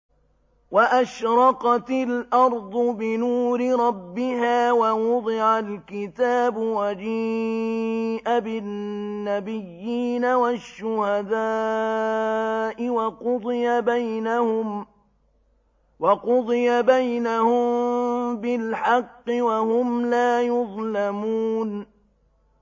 وَأَشْرَقَتِ الْأَرْضُ بِنُورِ رَبِّهَا وَوُضِعَ الْكِتَابُ وَجِيءَ بِالنَّبِيِّينَ وَالشُّهَدَاءِ وَقُضِيَ بَيْنَهُم بِالْحَقِّ وَهُمْ لَا يُظْلَمُونَ